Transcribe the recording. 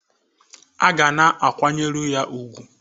A ga na-akwanyeru ya ugwu